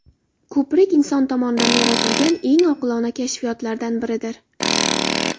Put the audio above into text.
Ko‘prik inson tomonidan yaratilgan eng oqilona kashfiyotlardan biridir.